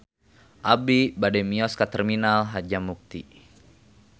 Abi bade mios ka Terminal Harjamukti